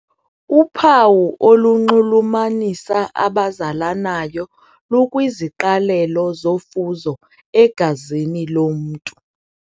Uphawu olunxulumanisa abazalanayo lukwiziqalelo zofuzo egazini lomntu.